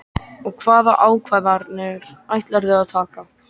Og hvaða ákvarðanir ætlarðu að taka?